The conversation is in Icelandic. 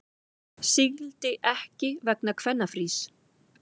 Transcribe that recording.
Sigldi ekki vegna kvennafrís